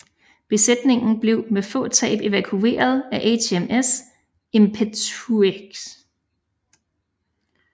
Besætningen blev med få tab evakueret af HMS Impetueux